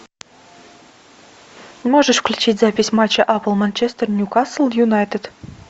можешь включить запись матча апл манчестер ньюкасл юнайтед